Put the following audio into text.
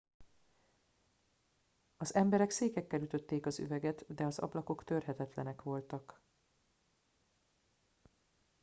az emberek székekkel ütötték az üveget de az ablakok törhetetlenek voltak